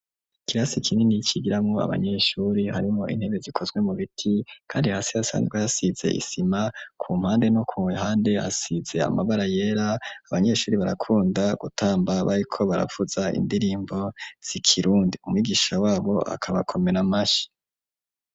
Kirasi kinini ikigiramwo abanyeshuri harimo intebe zikozwe mubiti, kandi hasi hasanzwe hasize isima ku mpande no ku wehande hasize amabara yera abanyeshuri barakunda gutamba bayiko barafuza indirimbo sikirundi umwigisha wabo akabakomera mashi.